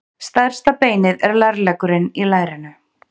Stærsta beinið er lærleggurinn í lærinu.